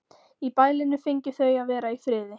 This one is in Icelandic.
Í bælinu fengju þau að vera í friði.